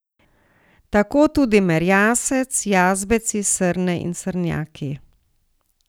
Tako tudi merjasec, jazbeci, srne in srnjaki.